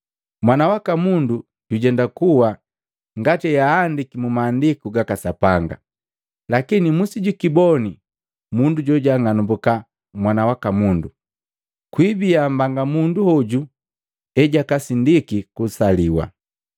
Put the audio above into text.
Mwana waka Mundu jujenda kuwa, ngati eahandiki mu Maandiku gaka Sapanga. Lakini musijikiboni mundu joang'anumbuka Mwana waka Mundu! Kwiibiya mbanga mundu hoju ejakasindiki kusaliwa.”